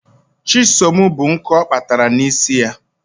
Chisom bu nkụ ọ kpatara n'isi ya.